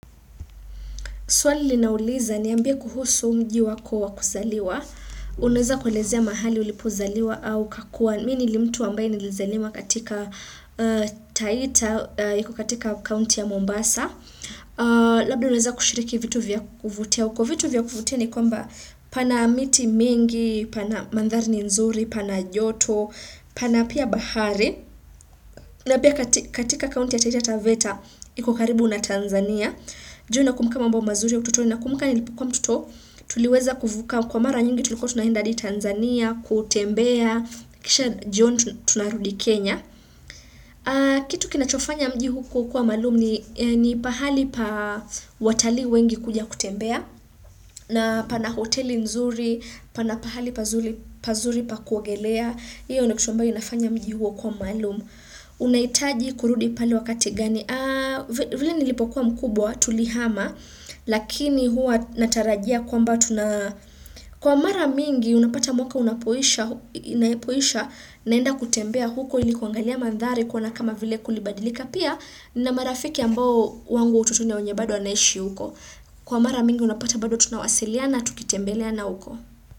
Swali linauliza niambie kuhusu mji wako wa kusaliwa. Unaweza kuelezea mahali ulipozaliwa au kakua. Mi ni limtu ambaye nilizaliwa katika Taita iko katika county ya Mombasa. Labda unaweza kushiriki vitu vya kuvutia. Kwa vitu vya kuvutia ni kwamba pana miti mingi, pana mandhari nzuri, pana joto, pana pia bahari. Na pia katika county ya Taita Taveta iko karibu na Tanzania. Je na kumbuka mambo mazuri ya ututoni na kumbuka nilipokua mtoto, tuliweza kuvuka kwa mara nyingi tulikua tunaenda hadi Tanzania, kutembea, kisha jioni tunarudi Kenya. Kitu kinachofanya mji huu kukua maalum ni ni pahali pa watalii wengi kuja kutembea, na pana hoteli nzuri, pana pahali pazuri pa kuogelea, iyo ni kisho ambayo inafanya mji huo kuwa maalum. Unaitaji kurudi pale wakati gani? Vile nilipokuwa mkubwa Tulihama Lakini huwa natarajia kwamba tuna kwa mara mingi Unapata mwaka unapoisha, naenda kutembea huko ilikuangalia mandhari Koana kama vile kulibadilika. Pia nina marafiki ambao wangu utotoni na wenye bado anaishi huko Kwa mara mingi unapata bado tunawasiliana Tukitembeleana huko.